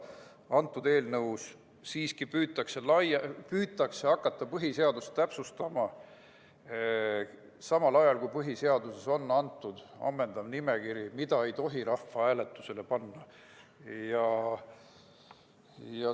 Antud eelnõuga püütakse aga hakata põhiseadust täpsustama, samal ajal kui põhiseaduses on olemas ammendav nimekiri selle kohta, mida ei tohi rahvahääletusele panna.